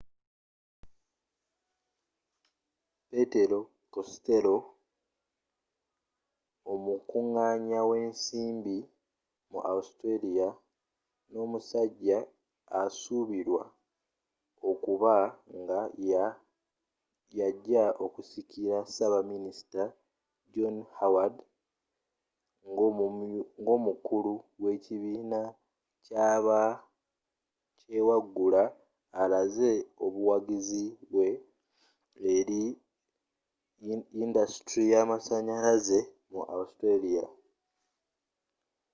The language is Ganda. petero costello omukunganya wensimbi mu australia nomusajja asuubirwa okuba nga yajja okusikira ssabaminisita john howard ngomukulu qwekibiina kyabakyewaggula alaze obuwagizi bwe eri yindasitule yamasanyalaze mu australia